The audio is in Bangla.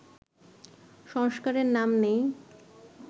সংস্কারের নাম নেই